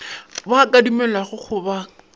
ba ka dumelelwago go ba